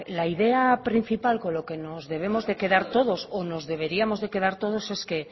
la idea principal con lo que nos debemos de quedar todos o nos deberíamos de quedar todos es que